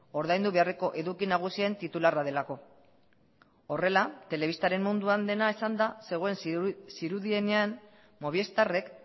ordaindu beharreko eduki nagusien titularra delako horrela telebistaren munduan dena esanda zegoen zirudienean movistarrek